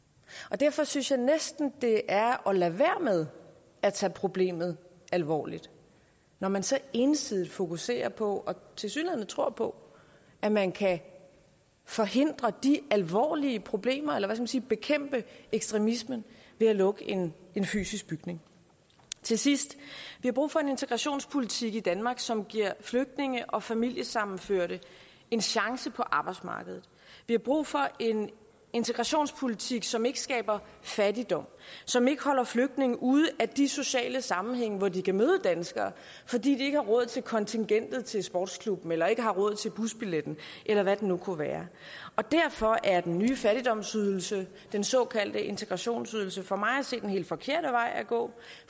derfor synes jeg næsten det er at lade være med at tage problemet alvorligt når man så ensidigt fokuserer på og tilsyneladende tror på at man kan forhindre de alvorlige problemer eller hvad skal man sige bekæmpe ekstremismen ved at lukke en fysisk bygning til sidst vi har brug for en integrationspolitik i danmark som giver flygtninge og familiesammenførte en chance på arbejdsmarkedet vi har brug for en integrationspolitik som ikke skaber fattigdom som ikke holder flygtninge ude af de sociale sammenhænge hvor de kan møde danskere fordi de ikke har råd til kontingentet til sportsklubben eller ikke har råd til busbilletten eller hvad det nu kunne være og derfor er den nye fattigdomsydelse den såkaldte integrationsydelse for mig at se den helt forkerte vej at gå